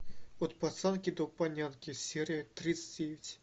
от пацанки до панянки серия тридцать девять